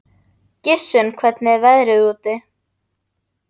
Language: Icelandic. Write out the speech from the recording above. Gissunn, hvernig er veðrið úti?